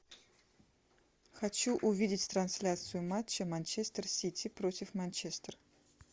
хочу увидеть трансляцию матча манчестер сити против манчестер